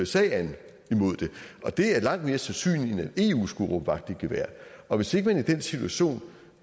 sag an det er langt mere sandsynligt end at eu skulle råbe vagt i gevær og hvis ikke man i den situation